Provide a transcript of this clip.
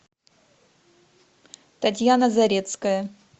татьяна зарецкая